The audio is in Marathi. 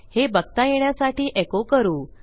हे बघता येण्यासाठी एको करू